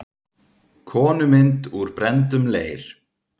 Konumynd úr brenndum leir.